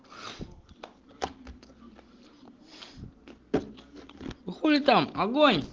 ну хули там огонь